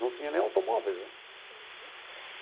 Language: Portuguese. Não tinha nem automóveis né.